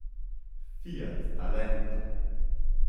Fiat talento.